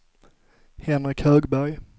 Henrik Högberg